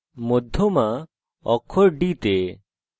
মধ্যমা অক্ষর d তে